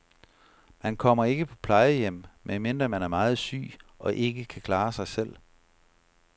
Man kommer ikke på plejehjem, medmindre man er meget syg og ikke kan klare sig selv.